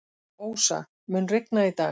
Ósa, mun rigna í dag?